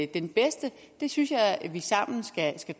den bedste synes jeg vi sammen skal